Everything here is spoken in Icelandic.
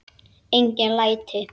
Engin læti.